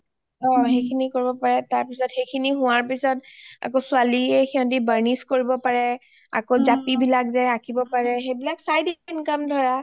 সেইখিনি কৰিব পাৰে তাৰপিছত সেইখিনি হোৱাৰ পিছত আকৌ ছোৱালীয়ে হিহঁতি barnish কৰিব পাৰে আকৌ জাপি বিলাক যে আঁকিব পাৰে সেইবিলাক সব side income ধৰা